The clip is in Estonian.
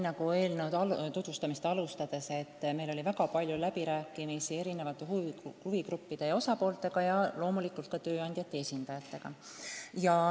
Nagu ma eelnõu tutvustamist alustades märkisin, meil oli tõesti väga palju läbirääkimisi huvigruppide, sh loomulikult ka tööandjate esindajatega.